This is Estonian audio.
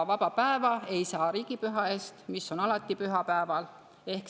Vaba päeva ei saa riigipüha eest, mis on alati pühapäeval.